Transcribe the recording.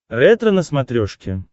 ретро на смотрешке